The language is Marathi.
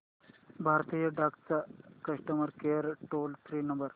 भारतीय डाक चा customer care toll free number